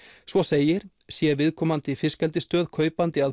svo segir sé viðkomandi fiskeldisstöð kaupandi að